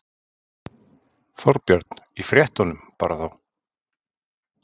Þorbjörn: Í fréttunum bara þá?